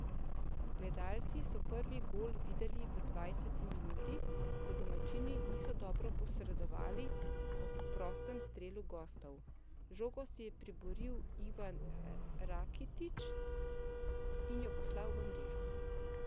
Gledalci so prvi gol videli v dvajseti minuti, ko domačini niso dobro posredovali ob prostem strelu gostov, žogo si je priboril Ivan Rakitić in jo poslal v mrežo.